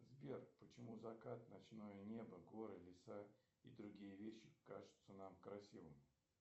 сбер почему закат ночное небо горы леса и другие вещи кажутся нам красивыми